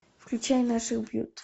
включай наших бьют